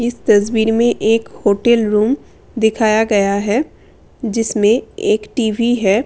इस तस्वीर में एक होटल रूम दिखाया गया है जिसमें एक टी_वी है।